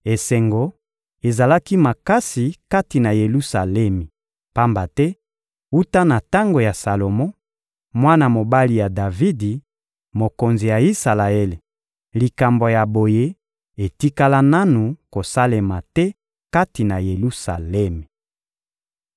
Esengo ezalaki makasi kati na Yelusalemi, pamba te wuta na tango ya Salomo, mwana mobali ya Davidi, mokonzi ya Isalaele, likambo ya boye etikala nanu kosalema te kati na Yelusalemi.